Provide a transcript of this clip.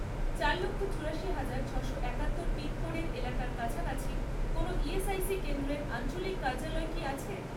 চার লক্ষ, চুরাশি হাজার, ছশো একাত্তর পিনকোডের এলাকার কাছাকাছি কোনও ইএসআইসি কেন্দ্রের আঞ্চলিক কার্যালয় কি আছে?